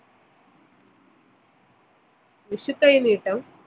വിഷുക്കൈനീട്ടം